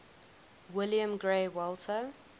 william grey walter